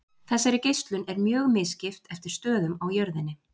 Þessari geislun er mjög misskipt eftir stöðum á jörðinni.